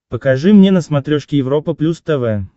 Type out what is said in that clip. покажи мне на смотрешке европа плюс тв